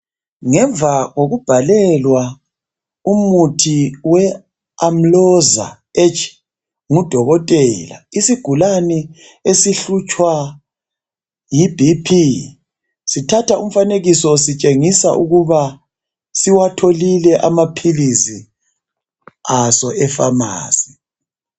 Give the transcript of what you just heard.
Ngemva kokubhalelwa umuthi we"Amlozaar-H" ngudokotela isigulane esihlutshwa yi "BP" sithatha umfanekiso sitshengiswa ukuba siwatholile amaphilizi aso efamasi.